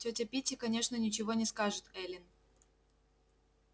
тётя питти конечно ничего не скажет эллин